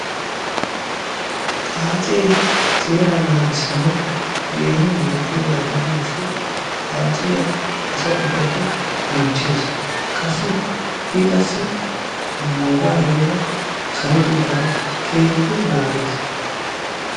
Xaacce seera naagissanaw keehi madiyaaga gidiyo gishshaw xaacciya asa ubbaykka keehippe bonchchees. a qassi nuuga heeera saroteta keehippe naaggees.